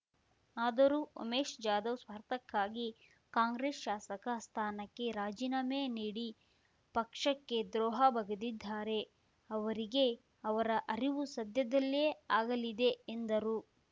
ಆದರೂ ಉಮೇಶ್ ಜಾಧವ್ ಸ್ವಾರ್ಥಕ್ಕಾಗಿ ಕಾಂಗ್ರೆಸ್ ಶಾಸಕ ಸ್ಥಾನಕ್ಕೆ ರಾಜೀನಾಮೆ ನೀಡಿ ಪಕ್ಷಕ್ಕೆ ದ್ರೋಹ ಬಗೆದಿದ್ದಾರೆ ಅವರಿಗೆ ಅವರ ಅರಿವು ಸದ್ಯದಲ್ಲೇ ಆಗಲಿದೆ ಎಂದರು